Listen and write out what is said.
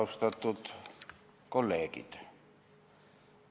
Austatud kolleegid!